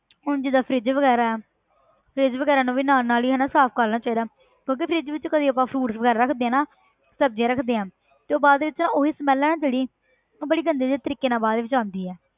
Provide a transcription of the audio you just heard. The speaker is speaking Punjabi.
ਹੁਣ ਜਿੱਦਾਂ fridge ਵਗ਼ੈਰਾ ਹੈ fridge ਵਗ਼ੈਰਾ ਨੂੰ ਵੀ ਨਾਲ ਨਾਲ ਹੀ ਹਨਾ ਸਾਫ਼ ਕਰ ਲੈਣਾ ਚਾਹੀਦਾ ਹੈ ਕਿਉਂਕਿ fridge ਵਿੱਚ ਕਦੇ ਆਪਾਂ fruits ਵਗ਼ੈਰਾ ਰੱਖਦੇ ਹਾਂ ਨਾ ਸਬਜ਼ੀਆਂ ਰੱਖਦੇ ਹਾਂ ਤੇ ਬਾਅਦ ਦੇ ਵਿੱਚ ਨਾ ਉਹੀ smell ਹੈ ਨਾ ਜਿਹੜੀ ਉਹ ਬੜੀ ਗੰਦੇ ਜਿਹੇ ਤਰੀਕੇ ਨਾਲ ਬਾਅਦ ਵਿੱਚ ਆਉਂਦੀ ਹੈ।